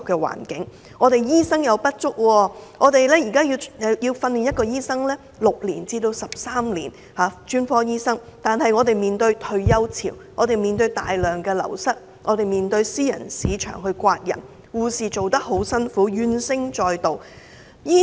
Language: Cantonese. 香港醫生不足，要培訓一名醫生需要6年至13年，但面對退休潮，醫護人手大量流失，私人市場又向公營醫院招攬人手，護士工作非常辛勞，怨聲載道。